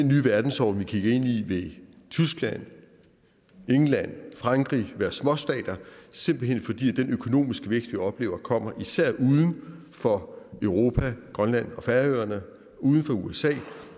nye verdensorden vi kigger ind i i vil tyskland england og frankrig være småstater simpelt hen fordi den økonomiske vækst vi oplever kommer især uden for europa grønland og færøerne uden for usa